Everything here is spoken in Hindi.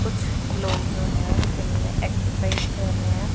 कुछ लोग जो है जिम में एक्सरसाइज कर रहे हैं।